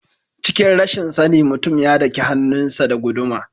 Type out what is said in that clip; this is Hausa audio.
Cikin rashin sani mutumin ya daki hannun sa da guduma.